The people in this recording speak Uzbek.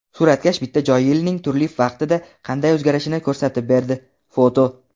Suratkash bitta joy yilning turli vaqtida qanday o‘zgarishini ko‘rsatib berdi (foto).